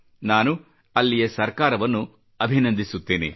ನಾನು ಅಲ್ಲಿಯ ಸರ್ಕಾರಕ್ಕೆ ಅಭಿನಂದಿಸುತ್ತೇನೆ